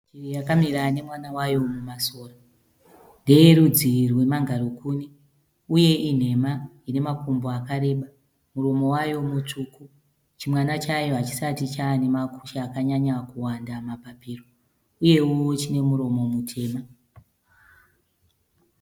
Shiri yakamira nemwana wayo mumasora. Ndeye rudzi rwemangarikuni uye inhema ine makumbo akareba. Muromo wayo mutsvuku. Chimwana chayo hachisati chanemakushe akanyanya kuwanda mapapiro uyewo chine muromo mutema.